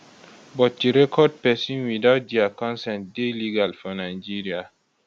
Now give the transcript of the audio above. but to record pesin without dia consent dey legal for nigeria